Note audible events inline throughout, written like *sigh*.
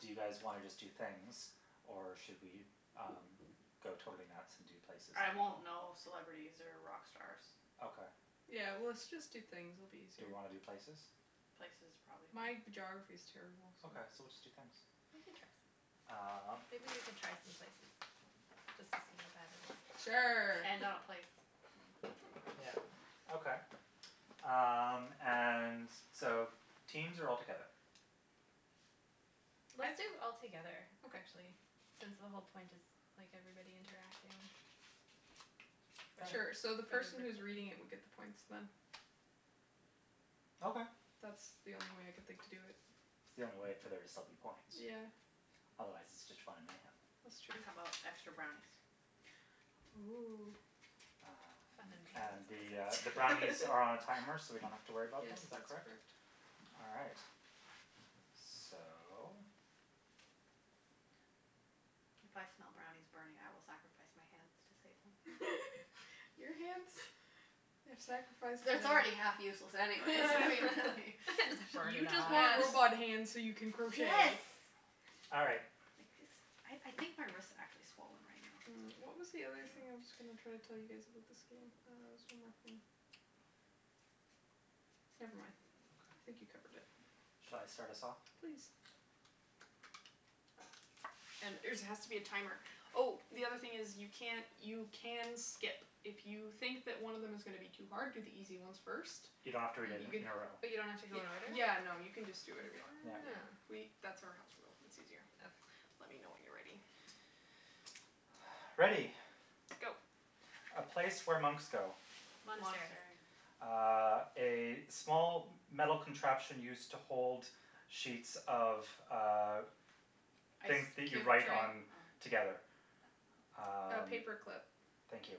do you guys wanna just do things or should we um go totally nuts and do places I and won't people? know celebrities or rock stars. Okay. Yeah, well let's just do things, it'll be Do easier. we wanna do places? Places, probably. My geography is terrible, so. Okay, so we'll just do things. We can try some- Um. maybe we can try some places just to see how bad it is. Sure. And not a place. *laughs* Mm. Yeah, okay. Um, and so teams or all together? Let's I do all together, Okay. actually, since the whole point is like everybody interacting Sure. Sure, so together the for the person who is recording reading it thing. would get the points, then. Okay. That's the only way I can think to do it. It's the only way for there to still be point. Yeah. Otherwise it's just fun and mayhem. That's true. How about extra brownies? Oh. Um, Fun and the, uh, the and *inaudible* brownies are on a timer so we don't *laughs* have to worry about Yes, them, is that that's correct? correct. All right. So. If I smell brownies burning, I will sacrifice my hands to save them. *laughs* Your hands have sacrificed It's it's enough. already half useless anyways *laughs* *laughs* Just burn You it just off. want robot hands so you can *laughs* *inaudible* Yes. crochet. All right. Like this, I I think my wrist actually swollen right now. Mm, I what don't was the other thing know. I was going to try to tell you guys about this game? Uh, there was one more thing. Never mind. I think you Okay. covered it. Shall I start us off? Please. And there's it has to be a timer. Oh, the other thing is, you can't you can skip. If you think that one of them is gonna be too hard, do the easy ones first. You don't have to read it You can in a row. But you don't have to go in order? Yeah, no, you can just do whatever you want. Yeah. Yeah, Oh. we that's our house rule, it's easier. Okay. Let me know when you're ready. Ready. Go. A place where monks go. Monastery. Monastery. Uh, a small metal contraption used to hold sheets of, uh, things Ice that you cube write tray? on Oh. together. Oh. A Um. paper clip. Thank you.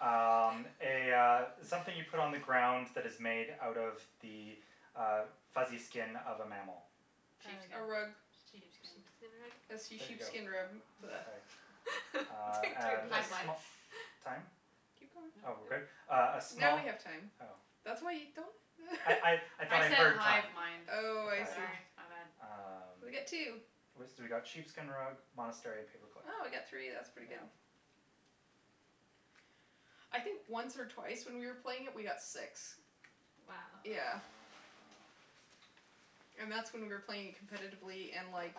Um, a, uh, something you put on the ground that is *noise* made out of the uh fuzzy skin of a mammal. Uh, A rug. sheep Sheepskin. sheepskin rug? A see There Sheepskin. you go. sheepskin rub. *noise* Okay. *laughs* Uh, Between three of and us a we Hive go it. mind. sm- time? Keep going. Oh, No. we're good? Uh a Now we small have time. Oh. That's why you don't I I *laughs* I thought I I said heard hive time. mind. Oh, I see. Sorry, my bad. Ah. Um, We got two. we got sheepskin rug, monastery and paperclip. Oh, we got three, that's pretty good. Mm. Yeah. I think once or twice when we were playing it we got six. Wow. Yeah. Wow. And that's when we were playing it competitively and, like,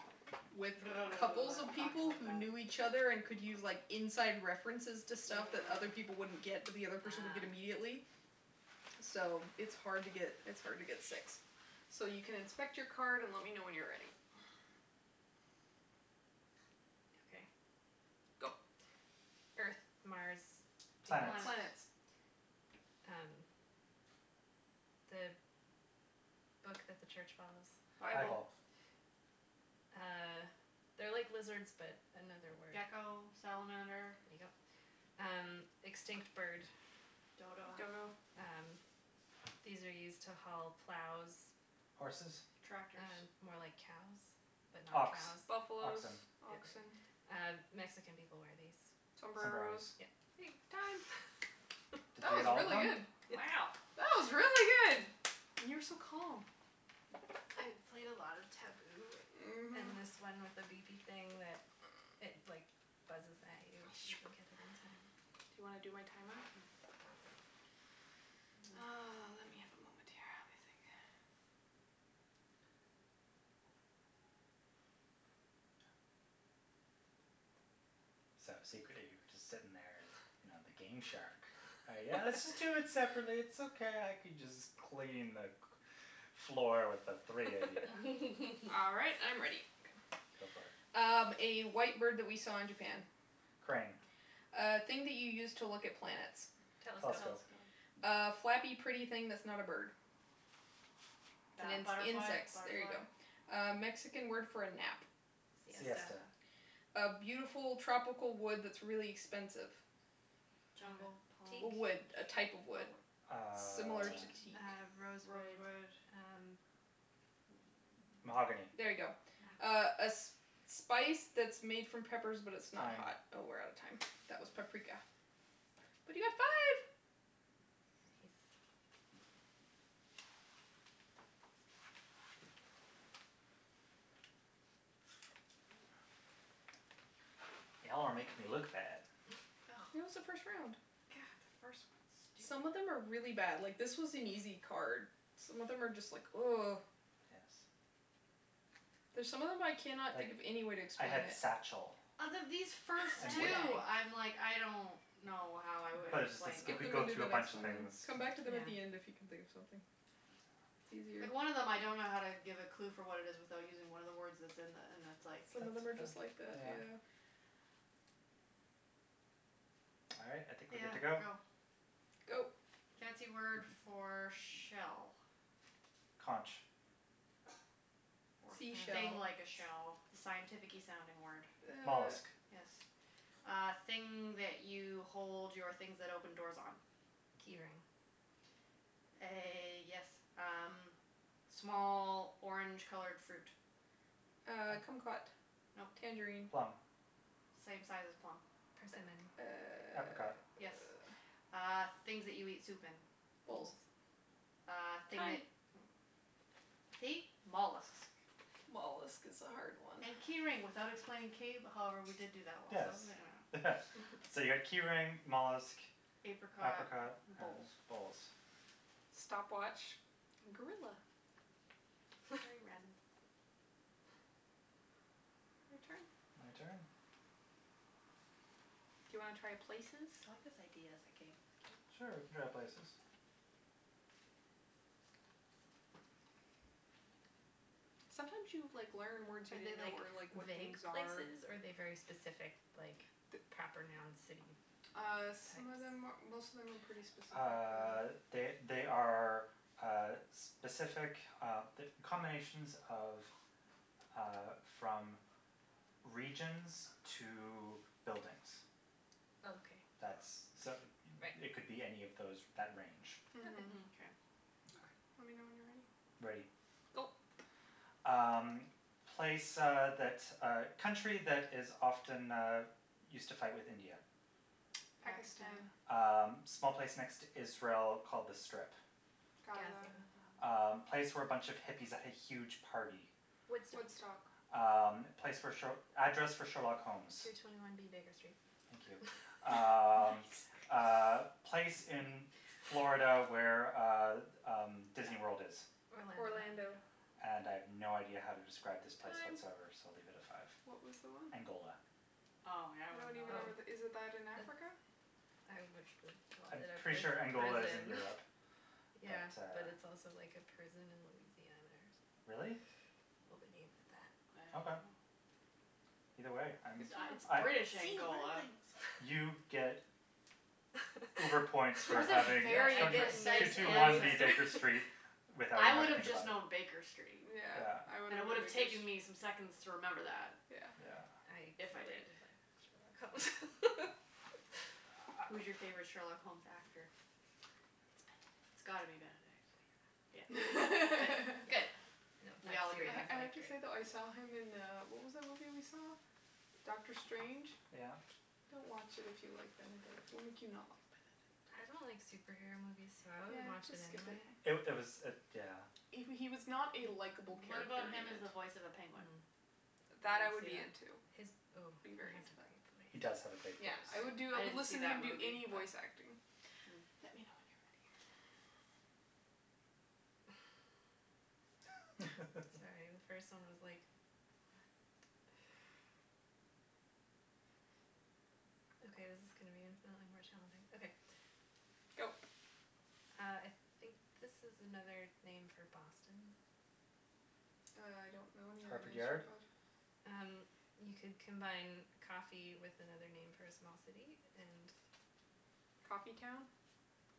with couples of *noise* Talking people like who that. knew each other and could use, like, inside references to stuff that other Mm. people wouldn't get but the other person would get Ah. immediately, so it's hard to get, it's hard to get six. So you can inspect your card and let me know when you're ready. Okay. Go. Earth, Mars, Venus. Planets. Planets. Planets. Um, the book that the church follows. Bible. Bible. Bible. Uh, they're like lizards but another word. Gecko, salamander. There you go. Um, extinct bird. Dodo. Dodo. Um, these are used to haul plows. Horses? Tractors. Uh more like cows but not Ox, cows. Buffalos, oxen. Yeah. oxen. Uh, Mexican people wear these. Sombreros. Sombreros. Yeah. *inaudible* Time. Did That you get was all of really them? good. It's. Wow. That was really good. And you were so calm. I've played a lot of Taboo Mhm. and this one with a beepy thing that it, like buzzes at you if you don't get it *noise* in time. Do you wanna do my timer? Mm. Mm. Oh, let me have a moment here. Let me think. So, secretly you were just sitting there, you know, the game shark. Yeah, let's just do it separately, it's *laughs* okay, I can just clean the cl- floor with the three of you. *laughs* All right, I'm *laughs* ready. Go for it. Um, a white bird that we saw in Japan. Crane. A thing that you use to look at plants. Telescope. Telescope. Telescope. A flappy, pretty thing that's not a bird. It's Bat- ins- butterfly, insects, there you butterfly. go. A Mexican word for a nap. Siesta. Siesta. *inaudible* A beautiful tropical wood that's really expensive. Uh, Jungle, teak? palm? A wood, a type of Oh. wood. Uh. Similar Teak, to teak. uh, *noise* rosewood, Rosewood. uh. Mm. Mahogany. There you go. Ah. Oh. A a sp- spice that's made from peppers but it's not Time. hot. Oh, we're out of time. That was paprika. But you got five! Nice. Y'all are making me look bad. Oh. *laughs* It was the first round. God, first one's stupid. Some of them are really bad. Like, this was an easy card. Some of them are just like *noise* Yes. There's some of them I cannot think Like, of any way to I explain had it. satchel. Out of these first And wh- Man two, bag. I'm like, I don't know how I would But it's just like explain you them. Skip could them go and do through a then next bunch of one, then. things. Come back to them at Yeah. the end if you can think of something. It's easier. Yeah. Like, one of them I don't know how to give a clue for what it is without using one of the words that's in the, and it's like. Some of That's, them are yeah, just like that, yeah. yeah. All right, I think we're good Yeah, to go. go. Go. Fancy word for shell. Conch. Or I thing Seashell. like a don't shell, the scientificky sounding word. Uh. Mollusk. Yes. Uh, thing that you hold your things that open doors on. Key ring. A, yes, um, small orange colored fruit. Uh, kumquat. No. Tangerine. Plum. Same size as a plum. Persimmon. Uh, Apricot. Yes. uh. Uh, things that you eat soup in. Bowls. Bowls. Uh, thing Time. that mm See? Mollusks. Mollusk is a hard one. And key ring without explaining cave- however, we did do that one *inaudible* I Yes. don't know. *laughs* So you got key *laughs* ring, mollusk, Apricot, apricot and bowls. bowls. Stopwatch, gorilla. Very random. *laughs* Your turn. My turn? Do you wanna try places? I like this idea as a game. It's Sure, we cute. can try places. Sometimes you, like, learn words you Are they, didn't know like or, like, what vague things are. places or are they very specific, like, The the proper noun city Uh, types? some of them, most of them are pretty specific, Uh, yeah. they they are uh specific uh combinations of uh from regions to buildings. Okay. That's, so Right. it it could be any of those that range. Okay. Mhm. Mkay. Okay. Let Okay. me know when you're ready. Ready. Go. Um, place uh that, uh, country that is often used to fight with India. Pakistan. Pakistan. Um, small place next to Israel called The Strip. Gaza. Gaza. Um, Gaza. place where a bunch of hippies had a huge party. Woodstock. Woodstock. Um, place where sh- address for Sherlock Holmes. Two twenty one B Baker Street. Thank you. *laughs* Nice. Um, *laughs* uh, place in Florida where uh, um, Disneyworld is. Orlando. Orlando. - ando And I have no idea how to describe this place Time. whatsoever, so I'll leave it at five. What was the one? Angola. Oh, yeah, I I don't wouldn't know even know that. where that, is that in Oh, Africa? that's. I would have called I'm it a pretty sure pri- Angola is in prison Europe, *laughs* but Yeah, but uh. it's also like a prison in Louisiana or something. Really? Well, they named it I don't Okay. know. that. Either way, I'm, Good It to it's I know. British See, you learn Angola. things. You get uber points for That's a *laughs* having Yeah, I very the get two precise nerd two one answer. points B Baker for. Street without I even having would to have think just about it. known Baker Street, Yeah. *inaudible* Yeah. and it would have taken me some seconds to remember that. Yeah. Yeah. I If I did. really like Sherlock Holmes. *laughs* Who's your favorite Sherlock Holmes actor? It's It's Benedict. gotta be Benedict, yeah. Good, good, Yeah, good, *laughs* no, we that's all agree series I then. is I have like to great. say, though, I saw him in, uh, what was that movie we saw? Doctor Strange? Yeah. Don't watch it if you like Benedict. It will make you not like I Benedict. don't like superhero movies, so I wouldn't Yeah, watch just it skip it. anyway. It it was it, yeah. He w- he was not a likeable What about character in him as it. the voice of a penguin? Mm. Would That, I anyone would see be that? into. His, oh, Be he very has a into that. great He does have a voice. great voice. Yeah, I would do, I I I would didn't see listen to him that do movie, any but voice acting. Hmm. Let me know when you're ready. Sorry, the first one *laughs* was like, what? Okay, this is gonna be infinitely more challenging. Okay. Go. Uh, I think this is another name for Boston. I don't know any other Harvard names for Yard. Bo- Um, you could combine coffee with another name for a small city and. Coffee town?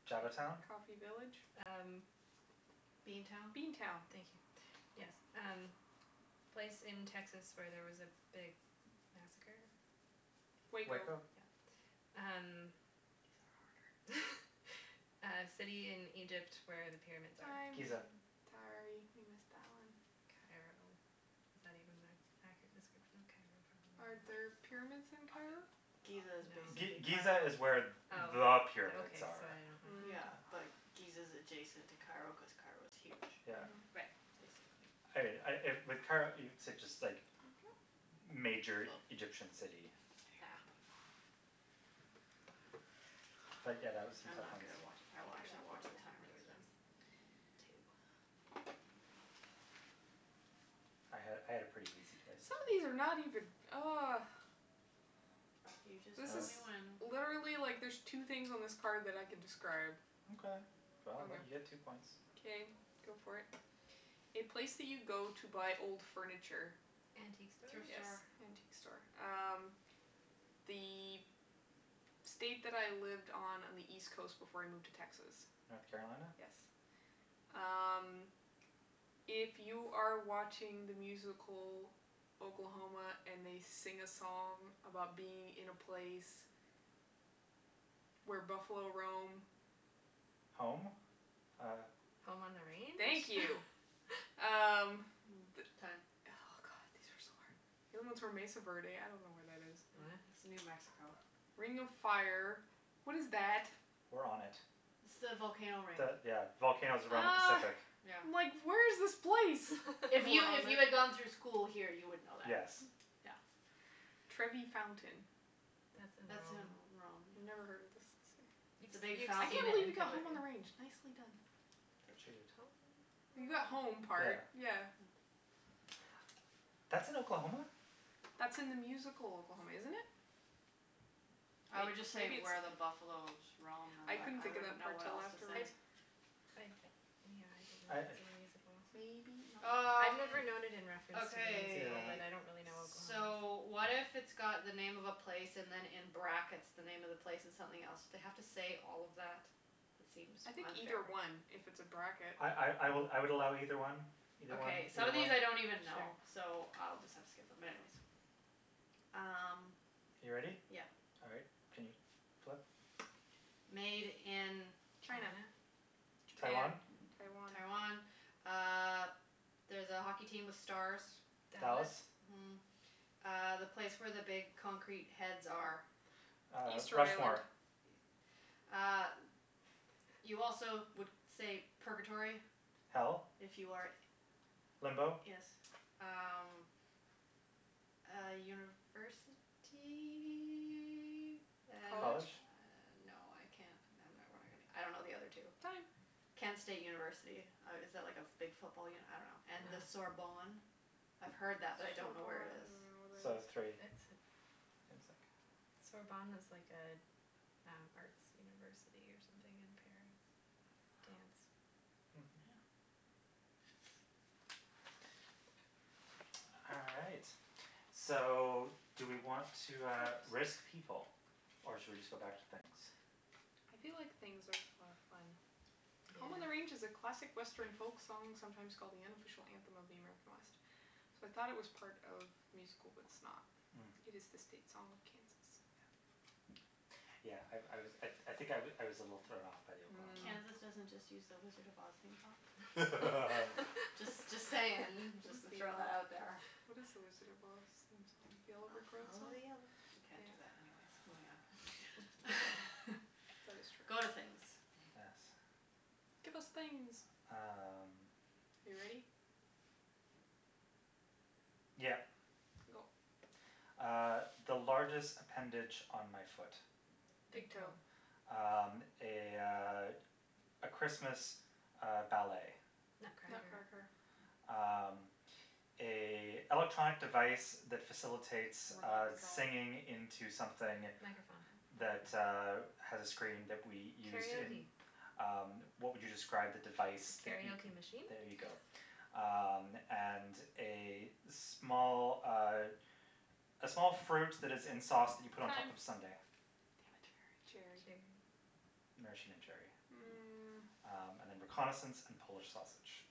Java town? Coffee village? Um. Bean town? Bean town. Thank you, yes. Um, place in Texas where there was a big massacre. Waco. Waco? Yep. These These are are harder. harder. *laughs* Uh city in Egypt where the pyramids Time. are. Giza. Time. Sorry, you missed that one. Cairo. Is that even an accurate description of Cairo, probably Are there not. pyramids in Cairo? Giza is No. G- basically Giza Cairo. is where there Oh, are okay, pyramids so are. I don't Mm. Yeah, know. like, Giza is adjacent to Cairo cuz Cairo's huge, Yeah. Mhm. Right. basically. I I with Cairo, it's just like Thank you. major Egyptian city. Yeah. But, yeah, that was some I'm tough not ones. good at watch, I I will think I got actually *inaudible* watch what the how timer many this were time. those Two. I had I had a pretty easy places. Some of these are not even oh. You just This tell is me *inaudible* when. Literally, like, there's two things on this card that I can describe. Okay, well, I'll let you get two Okay. points. Okay, go for it. A place that you go to buy old furniture. Antique store? Thrift Yes, store. antique store. Um, the state that I lived on on the East coast before I moved to Texas. North Carolina. Yes. Um, if you are watching the musical Oklahoma and they sing a song about being in a place where buffalo roam. Home? Uh. Home on the Thank range? you. Um. Mm time. Oh, god, these are so hard. The other ones were Mesa Verde. I don't know where that is. Oh. Mhm. It's New Mexico. Ring of Fire. What is that? We're on it. It's the volcano ring. The, yeah, volcanoes around the Oh. Pacific. Yeah. I'm like where's this place? If You you are on if it. you had gone through *laughs* school here, you would know that. Yes. Yeah. Trevi Fountain. That's in That's in Rome. Rome, Never yeah. heard of this. See. You've, It's a big you've I can't seen fountain it with believe you in *inaudible* got Home on pictures. the Range. Nicely done. She did. You got home Yeah. part, yeah. Hmm. That's in Oklahoma? That's in the musical Oklahoma, isn't it? I would just say Maybe it's where the buffalos roam and I couldn't then I think of wouldn't that know part what till else to I afterwards. say. I, yeah, I don't I know if it's uh in the musical. Maybe I've not. Um, never known it in reference to the musical, Yeah. okay. but I don't really know Oklahoma. So, what if it's got the name of a place and then in brackets, the name of the place and something else. *inaudible* have to say all of that? It seems I think unfair. either one if it's a bracket. I I I I would I would allow either one, either one, Okay. Some either of one. these I don't even know, Sure. so I'll just have to skip them, but anyways. Um. You ready? Yeah. All right, can you flip? Made in. China. China? Japan, Taiwan? Taiwan. Taiwan. Uh there's a hockey team with stars. Dallas. Dallas. Mhm. Uh, the place where the big concrete heads are. Uh, Easter Island. Rushmore. E- uh, you also would say purgatory Hell? if you are Limbo Yes. Um, uh university. And uh College? College? no, I can't *inaudible* I don't know the other two. Time. Kent State University. Uh is that like a big football uni- I don't know. And the Ah. Sorbonne. I've heard that, Sorbonne. I but I don't don't know where it is. even know where So, that is. three. It's. It's like Sorbonne is like a an arts university or something in Paris. Wow. Dance. Mhm. Yeah. *noise* All right, so do we want to, uh, risk people or should we just go back to things? I feel like things are for fun. Home on the Range is a Yeah. classic Western folk song sometimes called the unofficial anthem of the American West. So, I thought it was part of musical, but it's not. Mm. It is the state song of Kansas. Yeah. Yeah, I I was, I I think I I was a little thrown off by the Mm. Oklahoma. Kansas doesn't just use the Wizard of Oz theme song? *laughs* Just just saying, *laughs* just *inaudible* to throw that out there. theme? What is the Wizard of Oz theme song? The I Yellow Brick Road follow song? the yellow brick- we can't do that anyways, moving on. That is *laughs* true. Go to things. Yes. Give us things. Um. Are you ready? Yep. Go. Uh, the largest appendage on my foot. Big Big toe. toe. Um, a, uh, a Christmas, uh, ballet. Nutcracker. Nutcracker. Nutcracker. Um, a electronic device that facilitates Remote uh control. singing into something Microphone. that, uh, Hmm. has a screen that we used in. Karaoke. Um, what would you describe the device that you. Karaoke machine? There you go. Um, and a small, uh, a small fruit that is in sauce that you put on top Time. of a sundae. Damn it. Cherry. Cherry. Maraschino cherry. Hmm. Mm. Um and then reconnaissance and Polish sausage.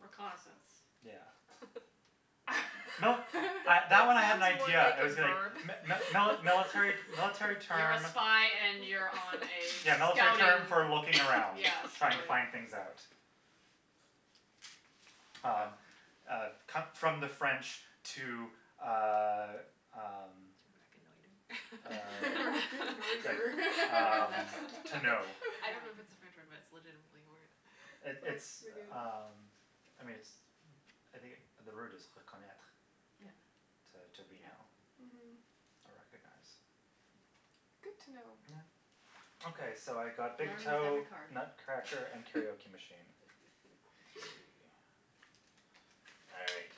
Reconnaissance? Yeah. *laughs* No, I That that that one I had an sounds more idea. like I a was *laughs* going verb. *laughs* mi- *noise* mi- mili- military military You're a term. spy and you're on a Yeah, military term scouting, for looking around, yeah, trying to scouting. find things out. Well. Um, uh, come from the French to, uh, um, To uh, *laughs* reconnoiter. like, *inaudible* *laughs* um, *laughs* Reconnaitre. *laughs* to know. I Yeah. don't know if it's a French word, but it's legitimately a word. It That's pretty it's, good. um, I mean, it's, I think the word is reconnaitre Yeah. Mhm. to to Yeah. reknow Mhm. or recognize. Good to know. Yeah. Okay, so I got big Learning with toe, every card. Nutcracker and karaoke machine. *laughs* Three. *laughs* All right.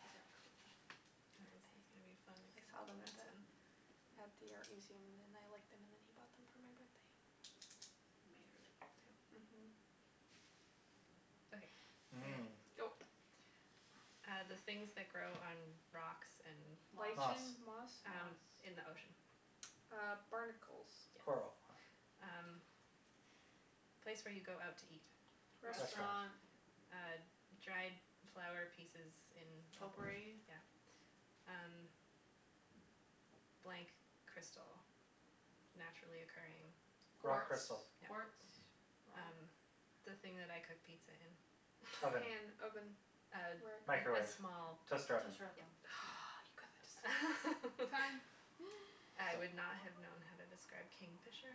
These are cool. This Aren't one's gonna be they? fun I except for saw the them at last one. the, at the art museum and then I liked them and then he bought them for my birthday. They're made really well, too. Mhm. Okay, ready. Mm. Go. Uh, the things that grow on rocks and. Moss. Moss. Lichen, moss? Moss. Um, in the ocean. Uh, barnacles. Yes. Coral. Um, place where you go out to eat. Restaurant. Restaurant. Restaurant. Uh, dried flower pieces in a bowl. Potpourri. Yeah. Um, blank crystal. Naturally occurring. Rock Quartz? Quartz, crystal. quartz, Yeah. rock? Um, the thing that I cook pizza in. A Oven. pan, oven, Um, rack. a Microwave, small. toaster oven. Toaster Yeah. oven. Hmm Oh, you got that just in time. Time. *laughs* I So. would not have known how to describe kingfisher.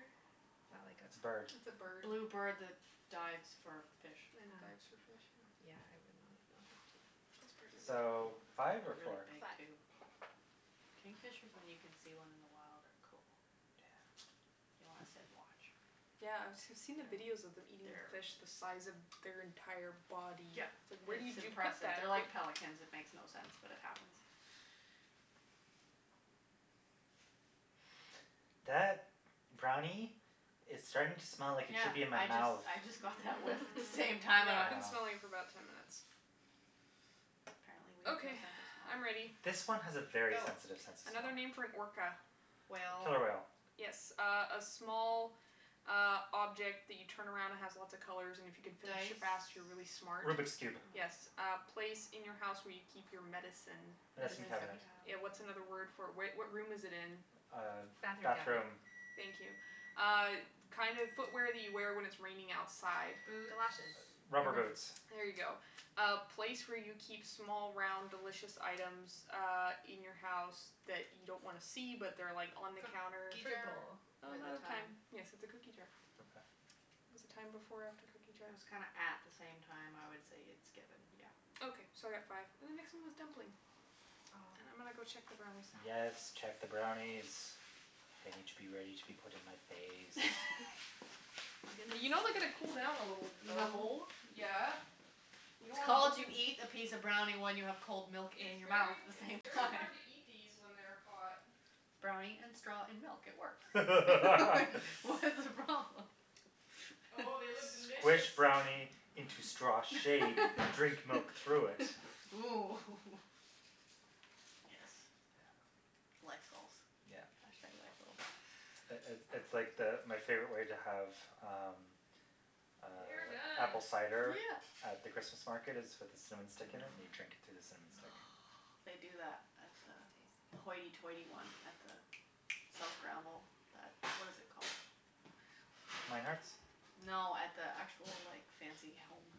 Is that like It's a bird. It's a a? bird. Blue bird that dives for fish. And Ah. dives for fish, yeah. Yeah, I would not have known how to. Those birds are So, really cool. five or Really four? big, Five. too. Kingfishers, when you can see one in the wild, are cool. Yeah. You wanna sit and watch. Yeah, I've *inaudible* I've seen the videos of them eating fish the size of their entire body. Yeah, It's like where it's did you put impressive. that? They're like pelicans; it makes no sense, but it happens. That brownie is starting to smell like it Yeah, should be in my I just mouth. I just got that whiff at the same Mm. *laughs* time, I I've went. been Ah. smelling it for about ten minutes. Apparently, we have no Okay, sense of smell. I'm ready. This one has a very Go. sensitive sense of smell. Another name for an orca. Whale. Killer whale. Yes. Uh a small, uh, object that you turn around and has lots of colors and if you can finish it Dice? fast, you're really smart. Rubik's Cube. Yes. Hmm. A place in your house where you keep your medicine. Medicine Medicine Medicine cabinet. cabinet. Yeah, what's another word cabinet. for it? Where what room is it in? Uh, Bathroom cabinet. bathroom. Thank you. Uh kind of footwear that you wear when it's raining outside. Galoshes, Boots. Rubber rubber boots. boots. There you go. Uh place where you keep small, round, delicious items uh in your house that you don't wanna see, but they're like on the counter. Cookie Fruit jar? bowl. Oh, I'm The out the of time. time. Yes, it's a cookie jar. Oh. Okay. Was the time before or after cookie jar? It was kinda at the same time. I would say it's given, yeah. Okay, so I got five. And the next one was dumpling. And Oh. I'm gonna go check the brownies now. Yes, check the brownies. They need to be ready to be put in my face. *laughs* I'm gonna You know they see gotta what these cool down a people little, look The like. though. hole? Yeah. You don't It's want called you molten eat a piece of brownie when you have cold milk It's in your mouth very at h- the it's same very time. hard to eat these when they're hot. Brownie and straw and milk, it works *laughs* Like, what's the *laughs* problem? *laughs* Oh, they look delicious. Squish brownie into straw shape, drink milk through it. *laughs* Ooh hoo hoo Yes. Yeah. Life goals. Yeah. Hashtag life goal. It it it's like the, my favorite way to have um, They are uh, done. apple cider Yeah. at the Christmas market is with a cinnamon stick in it and you drink it through the cinnamon stick. Oh, they do that at the Sounds the tasty. hoity-toity one at the South Granville, that what is it called? Mynard's? No, at the actual, like, fancy home.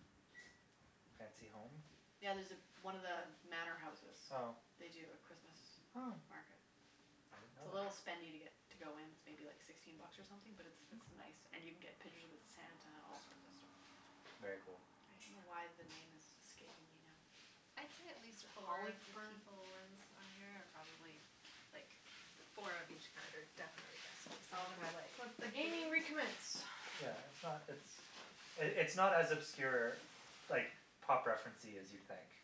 Fancy home? Yeah, there's one of the manor houses, Oh. they do a Christmas Oh. market. I didn't know It's a that. little spendy to get to go in. It's maybe like sixteen bucks or something, but it's it's nice and Okay. you can get pictures with Santa and all sorts of stuff. Very cool. I don't know why the name is escaping me now. I'd say at Is least it four of the Hollyburn? people ones on here are probably like four of each card are definitely guessable, some of them are Okay. like, Let the hmm? gaming recommence. Yeah, it's not, it's, it's not as obscure, like, pop referencey as you'd think